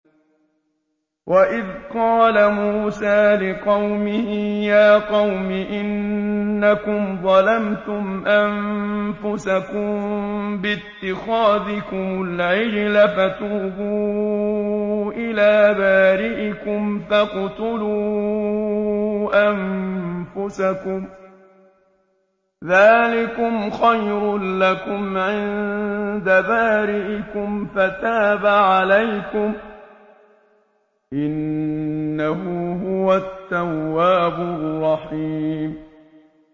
وَإِذْ قَالَ مُوسَىٰ لِقَوْمِهِ يَا قَوْمِ إِنَّكُمْ ظَلَمْتُمْ أَنفُسَكُم بِاتِّخَاذِكُمُ الْعِجْلَ فَتُوبُوا إِلَىٰ بَارِئِكُمْ فَاقْتُلُوا أَنفُسَكُمْ ذَٰلِكُمْ خَيْرٌ لَّكُمْ عِندَ بَارِئِكُمْ فَتَابَ عَلَيْكُمْ ۚ إِنَّهُ هُوَ التَّوَّابُ الرَّحِيمُ